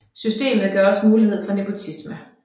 Systemet gav også mulighed for nepotisme